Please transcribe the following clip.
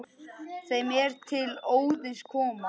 þeim er til Óðins koma